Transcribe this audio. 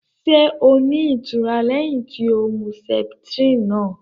Ṣé o ní itura lẹhin tí o mú septrini náà?